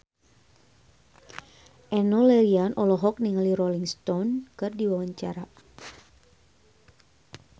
Enno Lerian olohok ningali Rolling Stone keur diwawancara